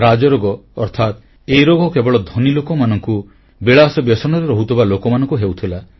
ରାଜରୋଗ ଅର୍ଥାତ୍ ଏହି ରୋଗ କେବଳ ଧନୀ ଲୋକମାନଙ୍କୁ ବିଳାସବ୍ୟସନରେ ରହୁଥିବା ଲୋକମାନଙ୍କୁ ହେଉଥିଲା